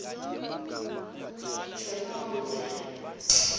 tjonondze